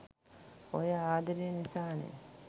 ඔය ආදරේ නිසානෙ